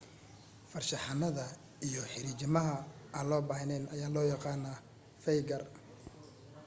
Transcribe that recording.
farshaxanada iyo xariijimaha aan loo baahnayn ayaa loo yaqaan faygar